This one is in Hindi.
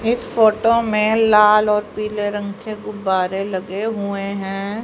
इस फोटो में लाल और पीले रंग के गुब्बारे लगे हुए हैं।